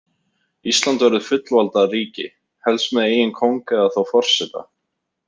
Ísland verður fullvalda ríki, helst með eigin kóng eða þá forseta.